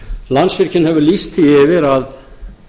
landsvirkjun hefur lýst því yfir að